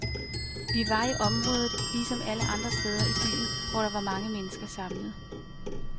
Vi var i området lige som alle andre steder i byen, hvor der var mange mennesker samlet.